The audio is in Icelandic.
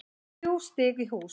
Þrjú stig í hús